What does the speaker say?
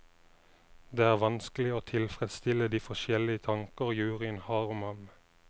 Det er vanskelig å tilfredsstille de forskjellige tanker juryen har om ham.